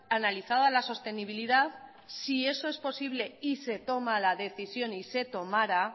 analizada la sostenibilidad si eso es posible y se toma la decisión y se tomara